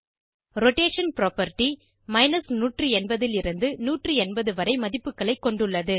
rotation property 180 லிருந்து 180 வரை மதிப்புகளை கொண்டுள்ளது